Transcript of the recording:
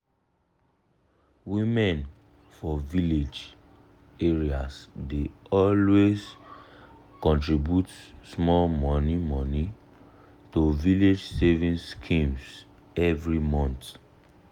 women for village areas dey always contribute small money money to village savings schemes every month.